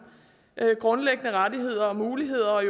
grundlæggende rettigheder og muligheder og